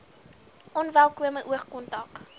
onwelkome oog kontak